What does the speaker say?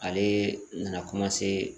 Ale nana